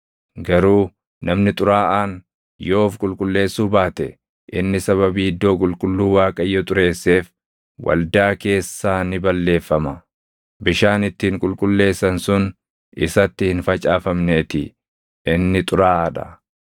Garuu namni xuraaʼaan yoo of qulqulleessuu baate, inni sababii iddoo qulqulluu Waaqayyo xureesseef waldaa keessaa ni balleeffama. Bishaan ittiin qulqulleessan sun isatti hin facaafamneetii inni xuraaʼaa dha.